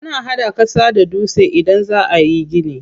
Ana hada ƙasa da dutse idan za ayi gini.